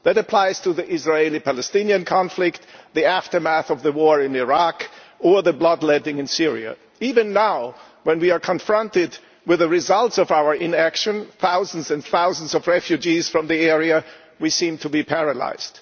That applies to the Israeli Palestinian conflict, the aftermath of the war in Iraq, and the blood letting in Syria. Even now, when we are confronted with the results of our inaction thousands and thousands of refugees from the area we seem to be paralysed.